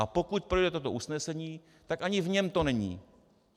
A pokud projde toto usnesení, tak ani v něm to není.